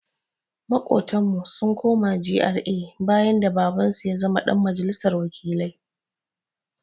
Maƙotanmu sun koma GRA bayan da Babansu ya zama ɗan majalisar wakilai.